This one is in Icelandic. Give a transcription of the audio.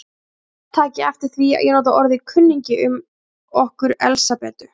Menn taki eftir því að ég nota orðið kunningi um okkur Elsabetu.